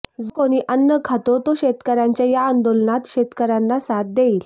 जो कोणी अन्न खातो तो शेतकऱ्यांच्या या आंदोलनात शेतकऱ्याना साथ देईल